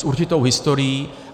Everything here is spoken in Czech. S určitou historií.